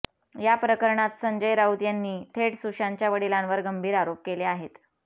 या प्रकरणात संजय राऊत यांनी थेट सुशांतच्या वडिलांवर गंभीर आरोप केले आहेत